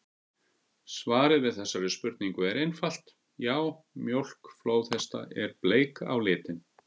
Svarið við þessari spurningu er einfalt: Já, mjólk flóðhesta er bleik á litinn!